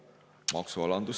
Maksualandus …